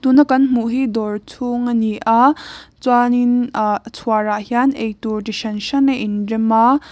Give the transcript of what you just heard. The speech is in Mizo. tun a kan hmuh hi dawr chhung a ni a chuan in ahh chhuar ah hian eitur chi hran hran a in rem a.